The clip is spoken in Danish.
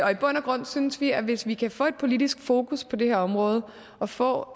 og i bund og grund synes vi at hvis vi kan få et politisk fokus på det her område og få